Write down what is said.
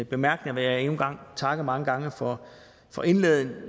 bemærkninger vil jeg endnu en gang takke mange gange for for indlæggene